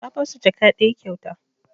Na basu jaka ɗaya kyauta